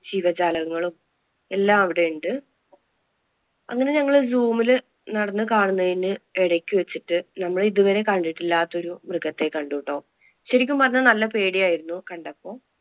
ജീവജാലങ്ങളും എല്ലാം അവിടെ ഉണ്ട്. അങ്ങനെ ഞങ്ങൾ zoom ല് നടന്നു കാണുന്നതിന് ഇടയ്ക്ക് വെച്ചിട്ട് നമ്മൾ ഇതുവരെ കണ്ടിട്ടില്ലാത്ത ഒരു മൃഗത്തെ കണ്ടിട്ടോ, ശെരിക്കും പറഞ്ഞാൽ നല്ല പേടി ആയിരുന്നു കണ്ടപ്പോ.